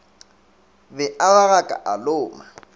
be a ragaka a loma